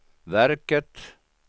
verket